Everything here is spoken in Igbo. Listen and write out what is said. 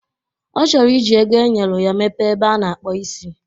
Ọ chọrọ iji ego enyelu ya mepee ebe a na-akpụ isi